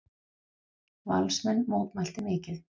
Valsmenn mótmæltu mikið.